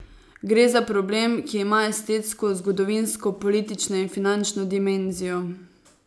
Gre za problem, ki ima estetsko, zgodovinsko, politično in finančno dimenzijo.